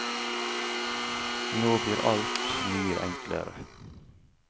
Nå blir alt mye enklere.